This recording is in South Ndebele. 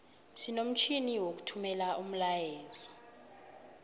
sinomtjhini wokuthumela umlayeezo